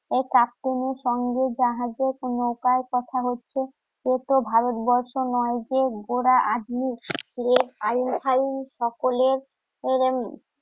এই সঙ্গে জাহাজে কার কথা হচ্ছে তো ভারতবর্ষ নয় যে সকলে